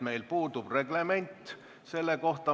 Meil puudub reglement selle kohta.